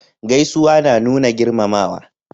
Gaisuwa na nuna girmamawa